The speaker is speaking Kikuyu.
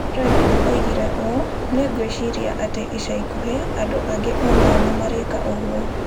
Regev oigire ũũ: "Nĩ ngwĩciria atĩ ica ikuhĩ andũ angĩ o nao nĩ marĩka ũguo".